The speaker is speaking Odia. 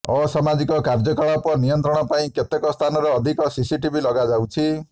ଅସାମାଜିକ କାର୍ଯ୍ୟକଳାପ ନିୟନ୍ତ୍ରଣ ପାଇଁ କେତେକ ସ୍ଥାନରେ ଅଧିକ ସିସିଟିଭି ଲଗାଯାଉଛି